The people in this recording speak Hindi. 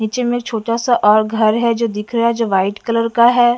नीचे में छोटा सा और घर है जो दिख रहा है जो व्हाइट कलर का है।